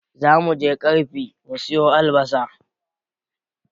Zamuje ƙarfi mu siyo albasa